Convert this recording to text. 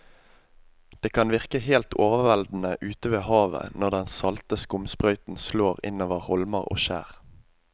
Det kan virke helt overveldende ute ved havet når den salte skumsprøyten slår innover holmer og skjær.